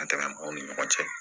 mɔgɔw ni ɲɔgɔn cɛ